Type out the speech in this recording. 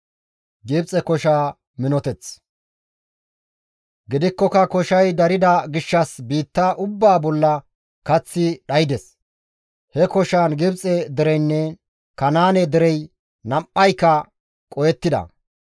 Gidikkoka koshay darida gishshas biitta ubbaa bolla kaththi dhaydes. He koshaan Gibxe dereynne Kanaane derey nam7ayka qohettida.